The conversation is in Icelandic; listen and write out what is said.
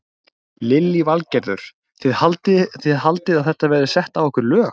Lillý Valgerður: Þið haldið að það verði sett á ykkur lög?